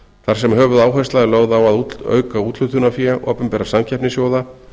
þar sem höfuðáhersla er lögð á að auka úthlutunarfé opinberra samkeppnissjóða